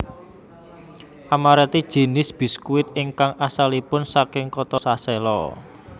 Amaretti jinis biskuit ingkang asalipun saking kota Sassello